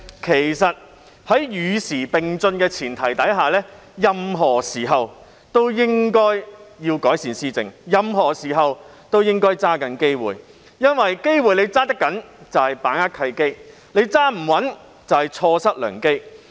其實，在與時並進的前提下，政府任何時候都應該改善施政，任何時候都應該抓緊機會，因為能抓得緊機會即把握契機，抓不緊機會即錯失良機。